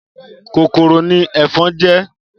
Kókóró ni efòn jè